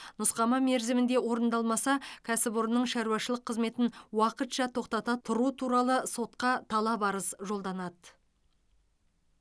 нұсқама мерзімінде орындалмаса кәсіпорынның шаруашылық қызметін уақытша тоқтата тұру туралы сотқа талап арыз жолданады